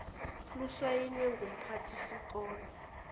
lusayinwe ngumphathi sikole